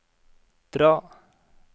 dra